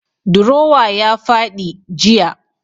Drawer ya fadi jiya.